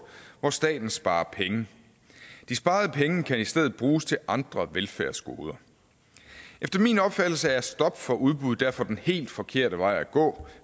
hvor staten sparer penge de sparede penge kan i stedet bruges til andre velfærdsgoder efter min opfattelse er et stop for udbud derfor den helt forkerte vej at gå